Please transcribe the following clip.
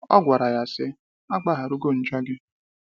Ọ gwara ya sị,a gbaharugo njọ gị.